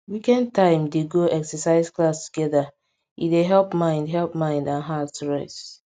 weekend time dem dey go exercise class together e dey help mind help mind and heart rest